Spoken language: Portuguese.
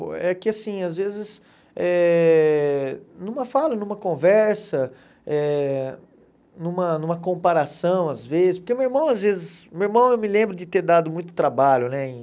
É que, assim, às vezes eh... Numa fala, numa conversa, eh numa numa comparação, às vezes... Porque o meu irmão, às vezes... O meu irmão, eu me lembro de ter dado muito trabalho, né? E